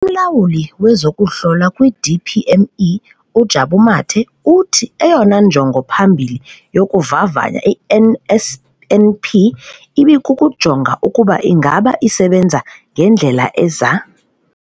UMlawuli wezokuHlola kwi-DPME, uJabu Mathe, uthi eyona njongo iphambili yokuvavanya i-NSNP ibikukujonga ukuba ingaba isebenza ngendlela eza-